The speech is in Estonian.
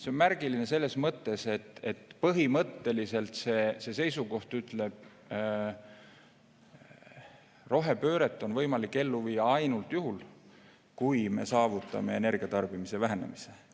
See on märgiline selles mõttes, et põhimõtteliselt see seisukoht ütleb, et rohepööret on võimalik ellu viia ainult juhul, kui me saavutame energia tarbimise vähenemise.